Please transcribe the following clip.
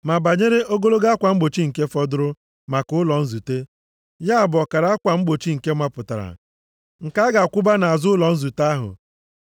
Ma banyere ogologo akwa mgbochi nke fọdụrụ maka ụlọ nzute, ya bụ ọkara akwa mgbochi nke mapụtara, nke a ga-akwụba nʼazụ ụlọ nzute ahụ.